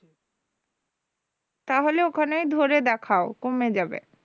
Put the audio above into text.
তাহলে ওখানেই ধরে দেখাও কমে যাবে